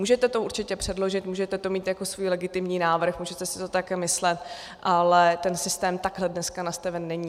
Můžete to určitě předložit, můžete to mít jako svůj legitimní návrh, můžete si to také myslet, ale ten systém takhle dnes nastaven není.